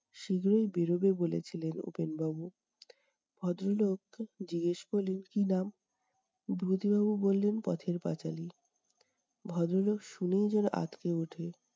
শীঘ্রই বেড়োবে বলেছিলেন উপেনবাবু। ভদ্রলোক জিজ্ঞেস করলেন, কী নাম? বিভূতিবাবু বললেন পথের পাঁচালি। ভদ্রলোক শুনেই যেনো আঁতকে উঠে!